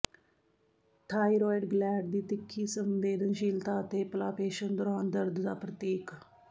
thyroid gland ਦੀ ਤਿੱਖੀ ਸੰਵੇਦਨਸ਼ੀਲਤਾ ਅਤੇ ਪਲਾਪੇਸ਼ਨ ਦੌਰਾਨ ਦਰਦ ਦਾ ਪ੍ਰਤੀਕ